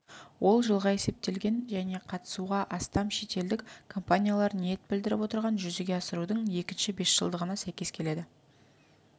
ол жылға есептелген және қатысуға астам шетелдік компаниялар ниет білдіріп отырған жүзеге асырудың екінші бесжылдығына сәйкес келеді